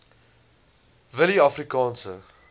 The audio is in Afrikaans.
willieafrikaanse